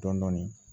Dɔɔnin dɔɔnin